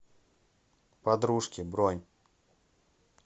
подружки бронь